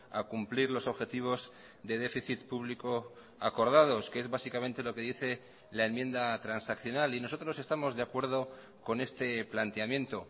a cumplir los objetivos de déficit público acordados que es básicamente lo que dice la enmienda transaccional y nosotros estamos de acuerdo con este planteamiento